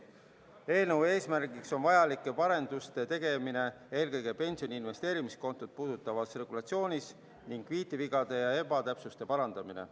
Eelnõu eesmärk on vajalike parenduste tegemine eelkõige pensioni investeerimiskontot puudutavas regulatsioonis ning viitevigade ja ebatäpsuste parandamine.